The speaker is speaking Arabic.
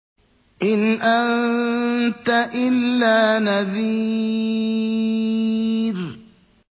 إِنْ أَنتَ إِلَّا نَذِيرٌ